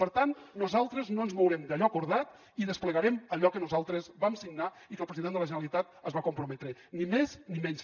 per tant nosaltres no ens mourem d’allò acordat i desplegarem allò que nosaltres vam signar i amb què el president de la generalitat es va comprometre ni més ni menys